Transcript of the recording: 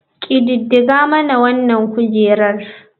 Ƙididdiga mana wanan kujerar.